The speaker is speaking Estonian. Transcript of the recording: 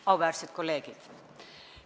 Auväärsed kolleegid!